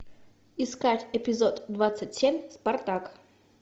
искать эпизод двадцать семь спартак